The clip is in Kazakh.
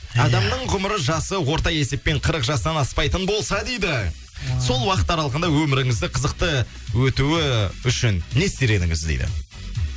адамның ғұмыры жасы орта есеппен қырық жастан аспайтын болса дейді сол уақыт аралығында өміріңізді қызықты өтуі үшін не істер едіңіз дейді